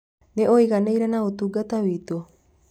Nĩ ũiganĩire na ũtungata witu?